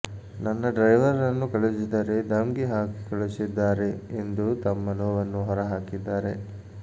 ನನ್ನ ಡ್ರೈವರ್ ರನ್ನು ಕಳುಹಿಸಿದರೆ ಧಮ್ಕಿ ಹಾಕಿ ಕಳುಹಿಸಿದ್ದಾರೆ ಎಂದು ತಮ್ಮ ನೋವನ್ನು ಹೊರಹಾಕಿದ್ದಾರೆ